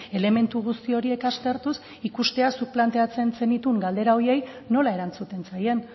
elementu guzti horiek aztertuz ikustea zuk planteatzen zenituen galdera horiei nola erantzuten zaien